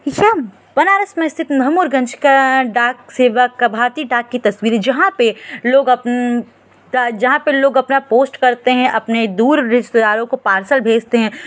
याम बनारस में सिर्फ महमूरगंज का डाक सेवा का भारतीय डाक की तस्वीर जहाँ पे लोग अपन जहाँ पर लोग अपना पोस्ट करते हैं अपने दूर रिश्तेदारों को पार्सल भेजते हैं।